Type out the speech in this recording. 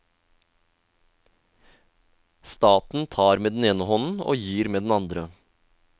Staten tar med den ene hånden og gir med den andre.